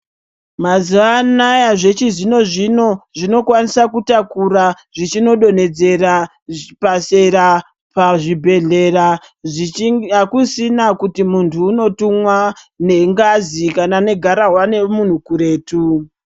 Mazuwanaya zvechizvino zvino azvinokwanisa kutakura zvichinodonhedzeda zvipasera pazvibhebhedhlera akusisina zvekuti muntu unotumwa nengazi kana negarahwa remunhu kuretu.